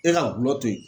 E ka gulɔ to ye